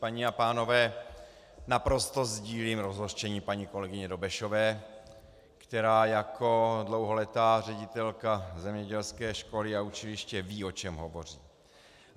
Paní a pánové, naprosto sdílím rozhořčení paní kolegyně Dobešové, která jako dlouholetá ředitelka zemědělské školy a učiliště ví, o čem hovoří.